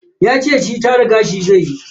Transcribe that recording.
Yace shi tara gashi zaiyi.